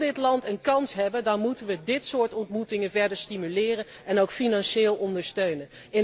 Wil het land een kans hebben, dan moeten wij dit soort ontmoetingen verder stimuleren en ook financieel ondersteunen.